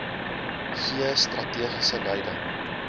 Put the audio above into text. gee strategiese leiding